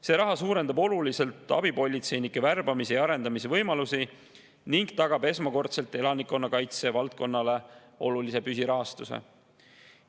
See raha suurendab oluliselt abipolitseinike värbamise ja arendamise võimalusi ning tagab elanikkonnakaitse valdkonnale esmakordselt olulise püsirahastuse.